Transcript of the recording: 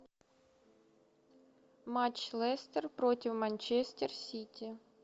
матч лестер против манчестер сити